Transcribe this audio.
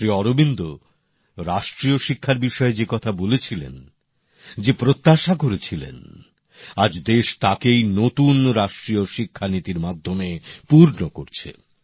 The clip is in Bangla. শ্রী অরবিন্দ রাষ্ট্রীয় শিক্ষার বিষয়ে যে কথা বলেছিলেন যে প্রত্যাশা করেছিলেন আজ দেশ তাকেই নতুন রাষ্ট্রীয় শিক্ষানীতির মাধ্যমে পূর্ণ করছে